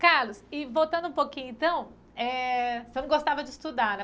Carlos, e voltando um pouquinho então, é você não gostava de estudar,